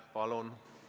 Palun!